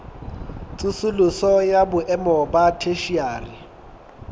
tsosoloso ya boemo ba theshiari